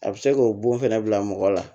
A bɛ se k'o bon fɛnɛ bila mɔgɔ la